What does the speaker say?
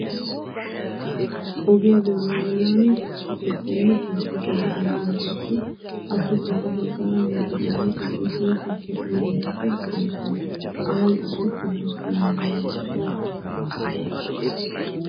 Ogiya doonaa bollaani tukke keettayinne keettati de'oosona. Qassi appe sintta baggaara motoregnati tukkiya uyiya naati de'oosona. Away qassi kobilistooniya bolli eqqidaagee de'es.